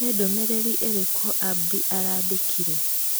Nĩ ndũmĩrĩri ĩrĩkũ Abdi aandĩkĩire?